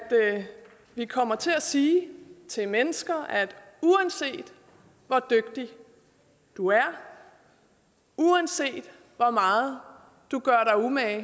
vi kommer til at sige til mennesker uanset hvor dygtig du er uanset hvor meget du gør dig umage